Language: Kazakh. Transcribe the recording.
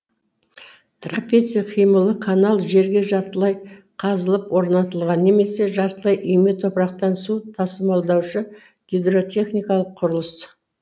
трапеция қималы канал жерге жартылай қазылып орнатылған немесе жартылай үйме топырақты су тасымалдаушы гидротехникалық құрылыс